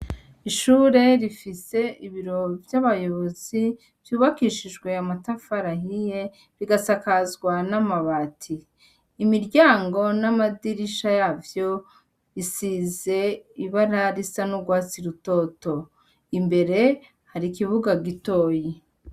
Ishure rifise ibiro vy'abayobozi vy'ubakishijwe amatafari ahiye, rigasakazwa n'amabati. Imiryango n'amadirisha yavyo isize ibara risa n'urwatsi rutoto, imbere hari ikibuga gitoyi.